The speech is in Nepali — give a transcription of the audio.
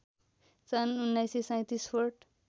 सन् १९३७ फोर्ट